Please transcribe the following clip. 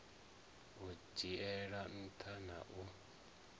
u dzhiela nṱha na u